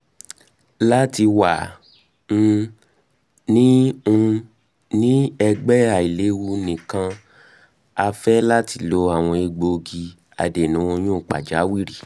lati wa um ni um ni ẹgbẹ ailewu nikan a fẹ lati lo awọn egbogi adena oyun pajawiri